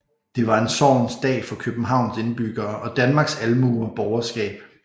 Det var en sorgens dag for Københavns indbyggere og Danmarks almue og borgerskab